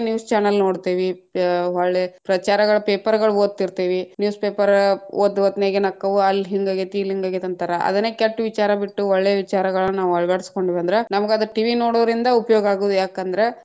News channel ನೋಡ್ತೇವಿ, ಅ ಹೊಳ್ಳಿ ಪ್ರಚಾರಗಳ paper ಗಳ ಓದತೀತೆ೯ವಿ, ಅ newspaper ಓದ್‌ ಹೊತ್ನ್ಯಾಗ ಏನಾಕ್ಕಾವ್‌ ಅಲ್ಲ ಹಿಂದ ಹೋಗೇತಿ ಇಲ್ಲ ಹಿಂದ್‌ ಹೋಗೇತಿ ಅಂತಾರಾ, ಅದ ಕೆಟ್ಟ ವಿಚಾರ ಬಿಟ್ಟು ಒಳ್ಳೇ ವಿಚಾರಗಳ ನಾವ್‌ ಅಳವಡಸಕೊಂಡ್ವೆದ್ರ ನಮಗ್‌ ಅದ TV ನೋಡೊದ್ರಿಂದ ಉಪಯೋಗ ಆಗುದು ಯಾಕಂದ್ರ.